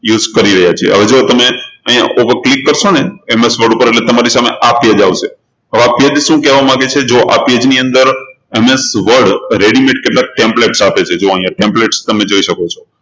use કરી રહ્યા છીએ હવે જુઓ તમે અહી ઉપર click તમે કરશો ને MS Word ઉપર એટલે તમારી સામે આ page આવશે હવે આ page શું કહેવા માંગે છે જુઓ આ page ની અંદર MSwordreadymade કેટલાક templates આપે છે જુઓ અહિયાં templates તમે જોઈ શકો છો